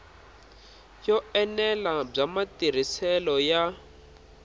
yo enela bya matirhiselo ya